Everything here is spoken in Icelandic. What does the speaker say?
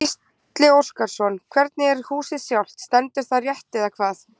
Gísli Óskarsson: Hvernig er húsið sjálft, stendur það rétt eða hvað?